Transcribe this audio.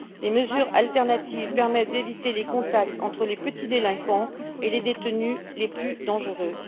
Les mesures alternatives permettent d'éviter les contacts entre les petits délinquants et les détenus les plus dangereux.